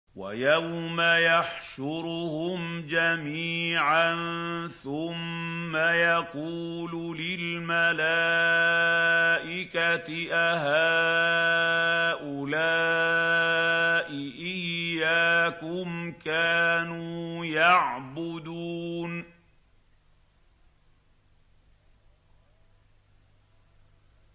وَيَوْمَ يَحْشُرُهُمْ جَمِيعًا ثُمَّ يَقُولُ لِلْمَلَائِكَةِ أَهَٰؤُلَاءِ إِيَّاكُمْ كَانُوا يَعْبُدُونَ